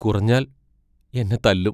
കുറഞ്ഞാൽ എന്നെ തല്ലും.